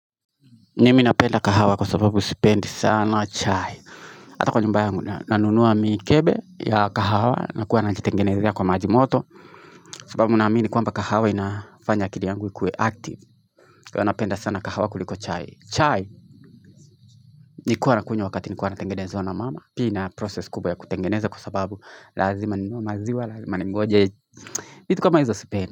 Nimi napenda kahawa kwa sababu sipendi sana chai Hata kwa nyumba yangu nanunuwa miikebe ya kahawa na kuwa anajitengenezia kwa majimoto sababu unamini kwamba kahawa inafanya kili yangu ikue active Kwa anapenda sana kahawa kuliko chai Nikuwa nakunye wakati nikuwa anatengenezwa na mama Pia process kubwa ya kutengenezwa kwa sababu lazima nimuwa maziwa lazima nimuwa jeji vitu kama hizo usipendi.